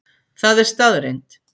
Það er staðreynd.